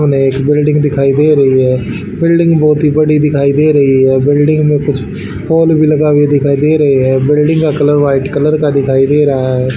सामने एक बिल्डिंग दिखाई दे रही है बिल्डिंग बहोत ही बड़ी दिखाई दे रही है बिल्डिंग में कुछ पोल भी लगा दिखाई दे रही है बिल्डिंग का कलर व्हाइट कलर का दिखाई दे रहा है।